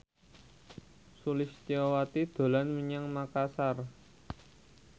Sulistyowati dolan menyang Makasar